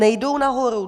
Nejdou nahoru.